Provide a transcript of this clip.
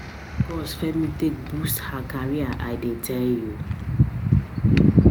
Na dis course Femi take boost her career I dey tell you